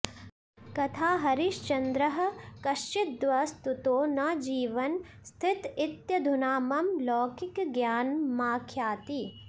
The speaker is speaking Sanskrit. कथाहरिश्चन्द्रः कश्चिद्वस्तुतो न जीवन् स्थित इत्यधुना मम लौकिकज्ञानमाख्याति